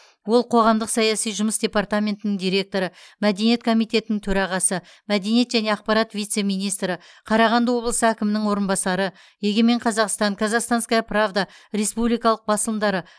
ол қоғамдық саяси жұмыс департаментінің директоры мәдениет комитетінің төрағасы мәдениет және ақпарат вице министрі қарағанды облысы әкімінің орынбасары егемен қазақстан казахстанская правда республикалық басылымдары